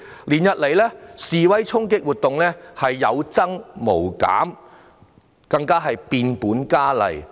連日來示威衝擊活動不但有增無減，更變本加厲。